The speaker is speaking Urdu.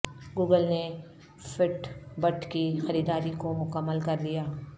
گوگل نے فٹ بٹ کی خریداری کو مکمل کر لیا